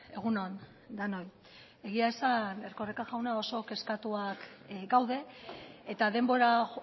egun on denoi egia esan erkoreka jauna oso kezkatuak gaude eta denbora